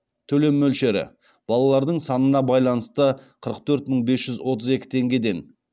төлем мөлшері балалардың санына байланысты